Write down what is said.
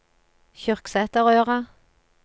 Kyrksæterøra